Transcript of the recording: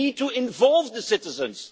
You need to involve the citizens.